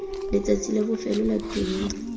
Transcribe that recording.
letsatsi la bofelo la tuelo